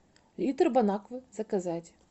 литр бонаквы заказать